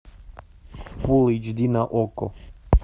фул эйч ди на окко